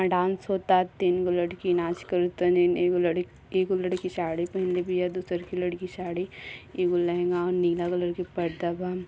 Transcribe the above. Dance होता तीन गो लड़की नाच करा तनी एगो लड़क एगो लड़की साड़ी पहिनले बिया दूसरकी लड़की साड़ी एगो लेहंगा अऊर नीला कलर के पर्दा बा।